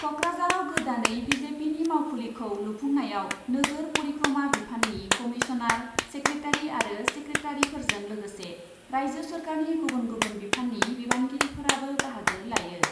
क'क्राझाराव गोदानै बि जे पिनि मावखुलिखौ लुफुंनायाव नोगोर परिक्रमा बिफाननि कमिसनार, सेक्रेटारि आरो सेक्रेटारिफोरजों लोगोसे राइजो सोरखारनि गुबुन गुबुन बिफाननि बिबानगिरिफोराबो बाहागो लायो।